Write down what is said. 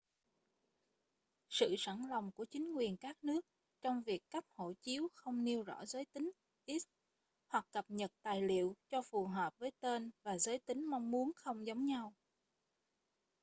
sự sẵn lòng của chính quyền các nước trong việc cấp hộ chiếu không nêu rõ giới tính x hoặc cập nhật tài liệu cho phù hợp với tên và giới tính mong muốn không giống nhau